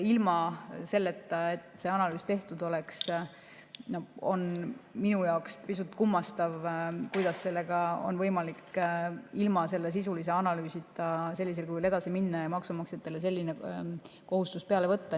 Ilma selleta, et see analüüs tehtud oleks, on minu meelest pisut kummastav arvata, et sellega oleks võimalik ilma sisulise analüüsita sellisel kujul edasi minna ja maksumaksjatele selline kohustus peale panna.